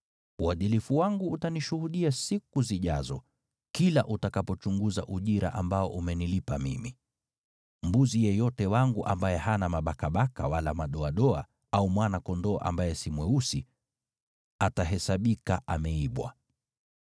Uadilifu wangu utanishuhudia siku zijazo, kila utakapochunguza ujira ambao umenilipa mimi. Mbuzi yeyote wangu ambaye hana mabakabaka wala madoadoa, au mwana-kondoo ambaye si mweusi, atahesabika ameibwa.”